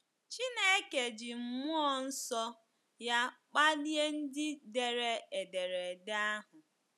Chineke ji mmụọ nsọ ya kpalie ndị dere ederede ahụ.